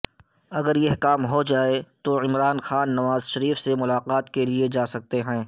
اگر یہ کام ہو جائے تو عمران خان نوازشریف سے ملاقات کیلئے جا سکتے ہیں